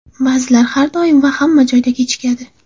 Ba’zilar har doim va hamma joyga kechikadi.